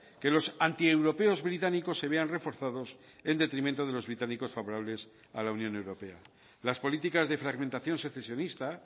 que los antieuropeos británicos se vean reforzados en detrimento de los británicos favorables a la unión europea las políticas de fragmentación secesionista